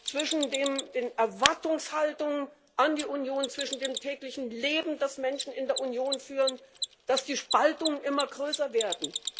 zwischen den Erwartungshaltungen an die Union, zwischen dem täglichen Leben, das Menschen in der Union führen, dass die Spaltungen immer größer werden.